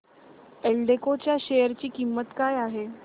एल्डेको च्या शेअर ची किंमत काय आहे